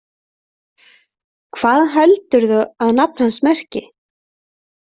Hvað heldurðu að nafn hans merki?